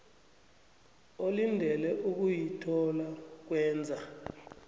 olindele ukuyithola ngokwenza